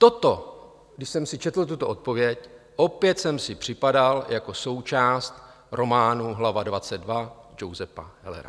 Toto, když jsem si četl, tuto odpověď, opět jsem si připadal jako součást románu Hlava XXII Josepha Hellera.